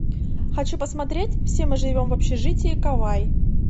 хочу посмотреть все мы живем в общежитии кавай